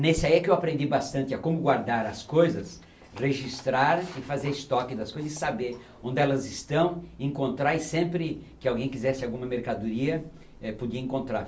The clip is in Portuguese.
Nesse aí é que eu aprendi bastante a como guardar as coisas, registrar e fazer estoque das coisas e saber onde elas estão, encontrar e sempre que alguém quisesse alguma mercadoria, eh podia encontrar.